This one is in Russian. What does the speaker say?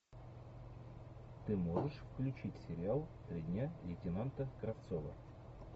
ты можешь включить сериал три дня лейтенанта кравцова